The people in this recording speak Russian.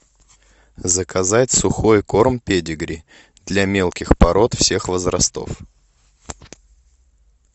заказать сухой корм педигри для мелких пород всех возрастов